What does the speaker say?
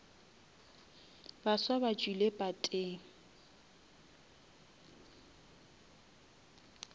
baswa ba tšwile pateng